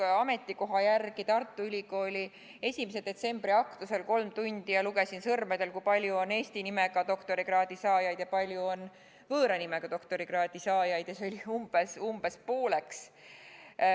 Istusin ametikoha järgi Tartu Ülikooli 1. septembri aktusel, kolm tundi, ja lugesin sõrmedel üles, kui palju on eesti nimega doktorikraadi saajaid ja kui palju on võõra nimega doktorikraadi saajaid – neid oli umbes pooleks.